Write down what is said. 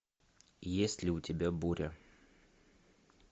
есть ли у тебя буря